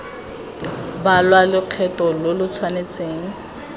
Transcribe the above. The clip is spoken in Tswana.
balwa lokgetho lo lo tshwanelang